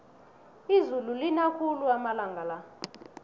izulu lina khulu amalanga la